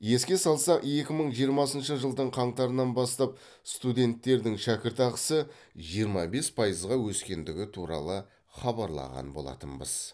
еске салсақ екі мың жиырмасыншы жылдың қаңтарынан бастап студенттердің шәкіртақысы жиырма бес пайызға өскендігі туралы хабарлаған болатынбыз